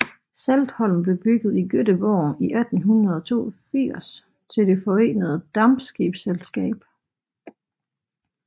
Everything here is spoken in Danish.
Saltholm blev bygget i Göteborg i 1882 til Det Forenede Dampskibsselskab